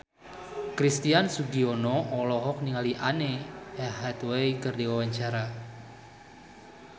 Christian Sugiono olohok ningali Anne Hathaway keur diwawancara